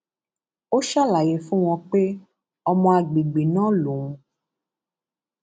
ó ṣàlàyé fún wọn pé ọmọ àgbègbè náà lòun